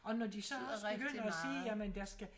Og når de så også begynder at sige jamen der skal